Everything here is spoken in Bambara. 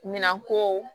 Minan ko